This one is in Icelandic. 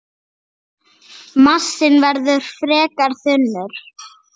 Massinn verður frekar þunnur.